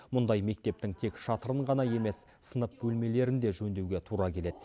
мұндай мектептің тек шатырын ғана емес сынып бөлмелерін де жөндеуге тура келеді